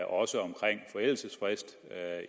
også omkring forældelsesfristen